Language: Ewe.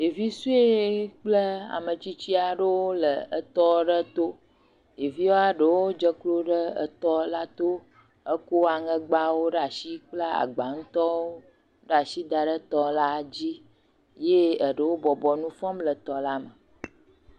Ɖevi sue kple ame tsitsi aɖewo le tɔto ɖevia aɖewo dze klo ɖe tɔa to kɔ aŋegbawo kple agba ŋutɔwo ɖe asi da ɖe tɔ la dzi eye eɖewo bɔbɔ le nu fɔm le tɔ la me.